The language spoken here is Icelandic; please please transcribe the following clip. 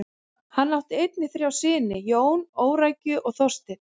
Hann átt einnig þrjá syni: Jón, Órækju og Þorstein.